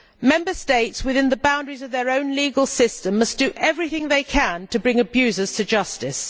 Member States, within the boundaries of their own legal system, must do everything they can to bring abusers to justice.